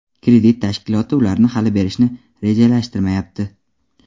kredit tashkiloti ularni hali berishni rejalashtirmayapti.